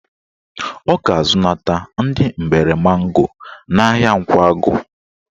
Ọ ga-azụnata ndị mgbere mango n'ahịa Nkwagụ